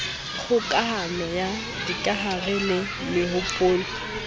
kgokahano ya dikahare le mehopolo